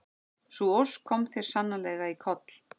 Sú ósk kom þér sannarlega í koll.